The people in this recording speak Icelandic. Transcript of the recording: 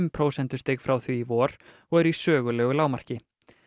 prósentustig frá því í vor og eru í sögulegu lágmarki